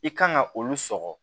I kan ka olu sɔgɔ